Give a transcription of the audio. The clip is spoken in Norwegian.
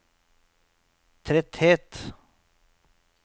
tretthet